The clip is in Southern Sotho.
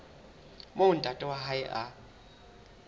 moo ntate wa hae a